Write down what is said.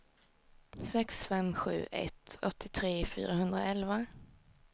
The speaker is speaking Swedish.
sex fem sju ett åttiotre fyrahundraelva